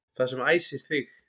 Það sem æsir þig